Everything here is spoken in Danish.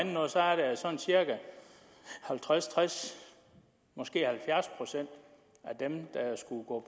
cirka halvtreds tres måske halvfjerds procent af dem der skulle gå